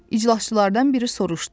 İclasçılardan biri soruşdu.